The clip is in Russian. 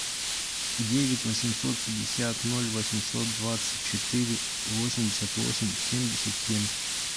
девять восемьсот пятьдесят ноль восемьсот двадцать четыре восемьдесят восемь семьдесят семь